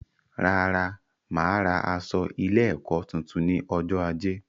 Rárá, máa ra aṣọ ilé ẹkọ tuntun ní ọjọ ajé